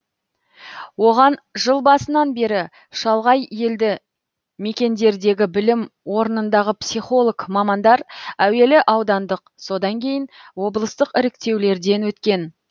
оған жыл басынан бері шалғай елді мекендердегі білім орнындағы психолог мамандар әуелі аудандық содан кейін облыстық іріктеулерден өткен